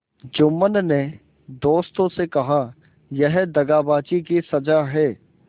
जुम्मन ने दोस्तों से कहायह दगाबाजी की सजा है